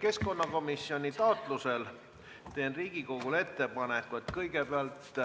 Keskkonnakomisjoni taotlusel teen Riigikogule ettepaneku, et kõigepealt